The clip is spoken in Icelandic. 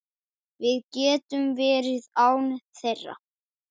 Við getum verið án þeirra.